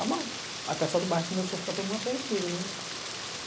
Aí o pessoal do bairro começou a ficar todo mundo apreensivo.